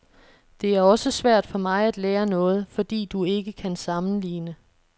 Det er også svært for mig at lære noget, fordi du ikke kan sammenligne.